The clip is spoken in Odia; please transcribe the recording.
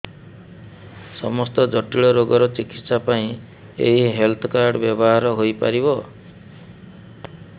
ସମସ୍ତ ଜଟିଳ ରୋଗର ଚିକିତ୍ସା ପାଇଁ ଏହି ହେଲ୍ଥ କାର୍ଡ ବ୍ୟବହାର ହୋଇପାରିବ